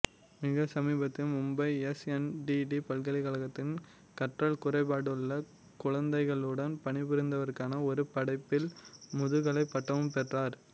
மிக சமீபத்தில் மும்பை எஸ்என்டிடி பல்கலைக்கழகத்தில் கற்றல் குறைபாடுள்ள குழந்தைகளுடன் பணிபுரிவதற்கான ஒரு படிப்பில் முதுகலை பட்டமும் பெற்றார்